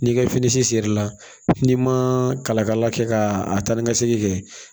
N'i ka fini serila n'i ma kalakala kɛ ka a ta ni ka segin kɛ